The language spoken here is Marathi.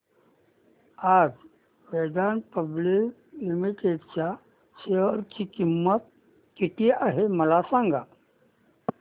आज वेदांता पब्लिक लिमिटेड च्या शेअर ची किंमत किती आहे मला सांगा